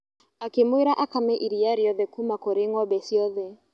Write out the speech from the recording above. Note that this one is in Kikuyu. Akĩmwĩra akame iriia riothe kuuma kũrĩ ng'ombe ciothe.